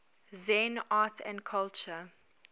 zen art and culture